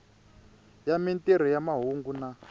ya mintirho ya mahungu na